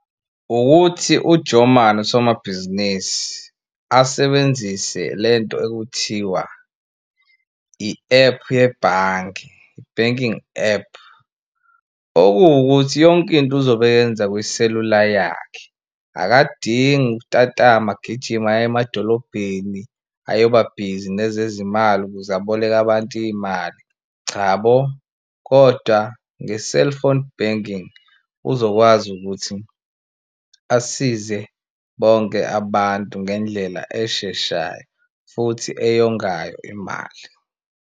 Ukuthi u-Joeman usomabhizinisi asebenzise le nto ekuthiwa i-ephu yebhange i-banking app, okuwukuthi yonkinto uzobe eyenza kwiselula yakhe. Akadingi ukutatama agijime aye emadolobheni ayobabhizi nezezimali ukuze aboleke abantu iy'mali. Chabo kodwa nge-cellphone banking uzokwazi ukuthi asize bonke abantu ngendlela esheshayo futhi eyongayo imali.